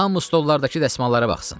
Hamı stolardakı dəsmallara baxsın.